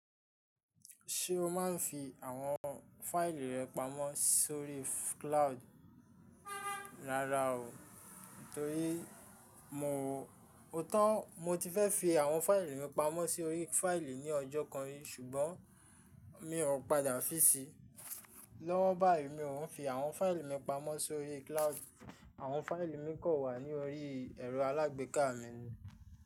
Ṣé o máa ń fi àwọn fáìlì rẹ pamọ́ sórí cloud? Rárá o, nítorí mo ootọ. Mo ti fẹ́ fi àwọn fáìlì mi pamọ́ sórí fáìlì ní ọjọ́ kan rí ṣùgbọ́n mi ò padà fí sí i. Lọ́wọ́ báyìí mi òún fi àwọn fáìlì mi pamọ́ sórí cloud àwọn fáìlì mi kàn wa ní orí ẹ̀rọ alágbèéká mi ni.